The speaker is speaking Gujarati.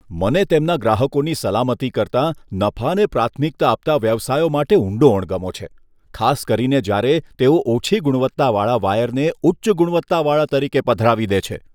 મને તેમના ગ્રાહકોની સલામતી કરતાં નફાને પ્રાથમિકતા આપતા વ્યવસાયો માટે ઊંડો અણગમો છે, ખાસ કરીને જ્યારે તેઓ ઓછી ગુણવત્તાવાળા વાયરને ઉચ્ચ ગુણવત્તાવાળા તરીકે પધરાવી દે છે.